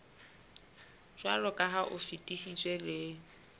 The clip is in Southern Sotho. jwaloka ha o fetisitswe le